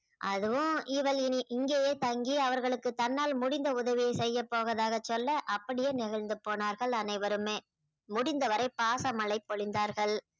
அதுவும் இவள் இனி இங்கேயே தங்கி அவர்களுக்கு தன்னால் முடிந்த உதவியை செய்யப் போவதாக சொல்ல அப்படியே நெகிழ்ந்து போனார்கள் அனைவருமே முடிந்தவரை பாச மழை பொழிந்தார்கள்